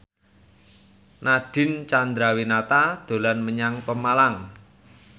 Nadine Chandrawinata dolan menyang Pemalang